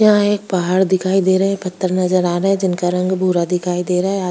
यहाँ एक पहाड़ दिखाई दे रहा है पत्थर नजर आ रहे है जिनका रंग भूरा दिखाई दे रहा है आ --